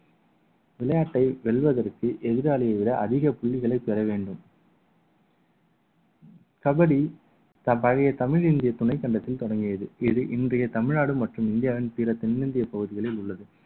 விளையாட்டை வெல்வதற்கு எதிராளியை விட அதிக புள்ளிகளை பெற வேண்டும் கபடி ப~ பழைய தமிழ் இந்திய துணைக்கண்டத்தில் தொடங்கியது இது இன்றைய தமிழ்நாடு மற்றும் இந்தியாவின் பிற தென்னிந்திய பகுதிகளில் உள்ளது